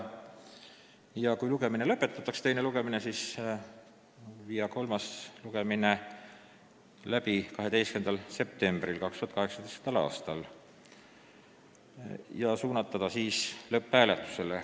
Kui teine lugemine lõpetatakse, siis on ettepanek viia kolmas lugemine läbi 12. septembril 2018. aastal ja panna siis eelnõu lõpphääletusele.